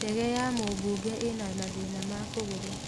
Ndege ya mũmbunge ĩna mathĩna ma kũgũrũ